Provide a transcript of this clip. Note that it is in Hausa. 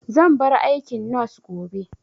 Zan bar aikin nos gobe